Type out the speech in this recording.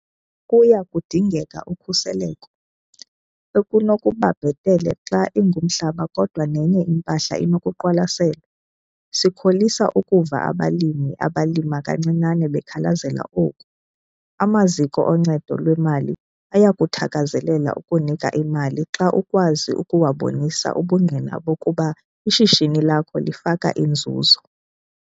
Kuya kudingeka ukhuseleko, ekunokuba bhetele xa ingumhlaba kodwa nenye impahla inokuqwalaselwa. Sikholisa ukuva abalimi abalima kancinane bekhalazela oku. Amaziko oncedo lwemali ayakuthakazelela ukunika imali xa ukwazi ukuwabonisa ubungqina bokuba ishishini lakho lifaka inzuzo.